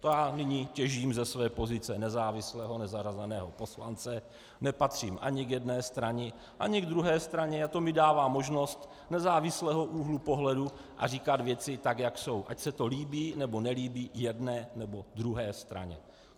To já nyní těžím ze své pozice nezávislého nezařazeného poslance, nepatřím ani k jedné straně, ani k druhé straně a to mi dává možnost nezávislého úhlu pohledu a říkat věci tak, jak jsou, ať se to líbí, nebo nelíbí jedné, nebo druhé straně.